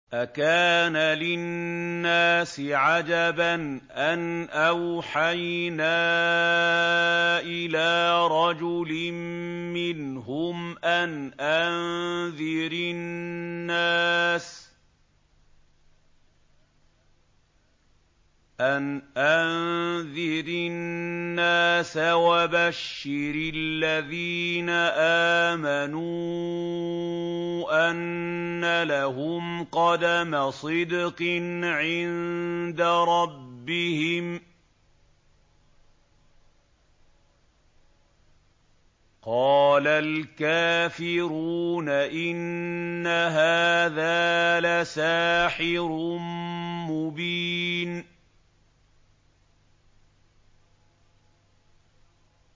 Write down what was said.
أَكَانَ لِلنَّاسِ عَجَبًا أَنْ أَوْحَيْنَا إِلَىٰ رَجُلٍ مِّنْهُمْ أَنْ أَنذِرِ النَّاسَ وَبَشِّرِ الَّذِينَ آمَنُوا أَنَّ لَهُمْ قَدَمَ صِدْقٍ عِندَ رَبِّهِمْ ۗ قَالَ الْكَافِرُونَ إِنَّ هَٰذَا لَسَاحِرٌ مُّبِينٌ